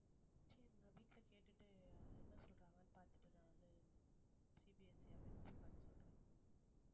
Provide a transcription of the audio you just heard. சரி நான் வீட்டுல கேட்டுட்டு என்ன சொல்றாங்கன்னு பாத்துட்டு நான் வந்து CBSE யா matric கான்னு சொல்றேன்